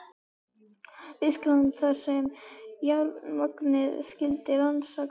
Þýskalands, þar sem járnmagnið skyldi rannsakað.